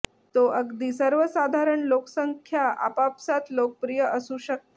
तो अगदी सर्वसाधारण लोकसंख्या आपापसांत लोकप्रिय असू शकते